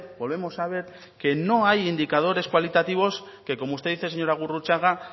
volvemos a ver que no hay indicadores cualitativos que como usted dice señora gurrutxaga